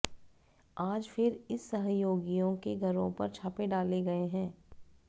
आज फिर इस सहयोगियों के घरों पर छापे डाले गए हैं